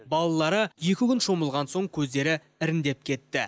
балалары екі күн шомылған соң көздері іріңдеп кетті